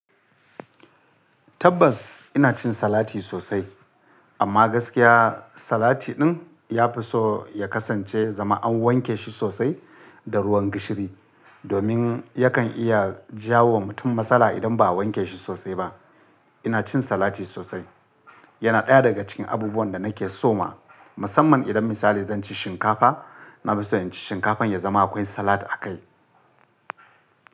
Tabbas ina cin salati sosai amma gaskiya salati din yafi so ya kasance zama an wanke shi sosai da ruwan gishiri domin yakan iya jawo wa mutum matsala idan ba a wanke shi sosai ba. Ina cin salati sosai. Yana ɗaya daga cikin abubuwan da nake so ma. Musamman idan misali zan ci shinkafa, na fi so in ci shinkafan ya zama akwai salat a kai.